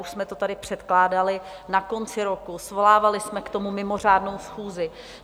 Už jsme to tady předkládali na konci roku, svolávali jsme k tomu mimořádnou schůzi.